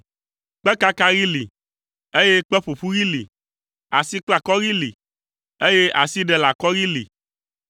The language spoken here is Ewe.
Kpekakaɣi li, eye kpeƒoƒuɣi li. Asikplakɔɣi li, eye asiɖelekɔɣi li.